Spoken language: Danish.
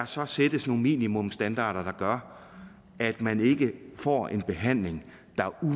så sættes nogle minimumsstandarder der gør at man ikke får en behandling